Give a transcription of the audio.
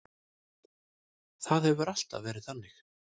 Það hefur alltaf verið þannig.